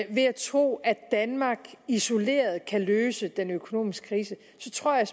og ved at tro at danmark isoleret kan løse den økonomiske krise så tror jeg